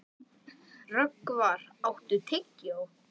Rögnvar, áttu tyggjó?